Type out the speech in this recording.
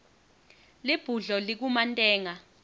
libhudlo likumantenga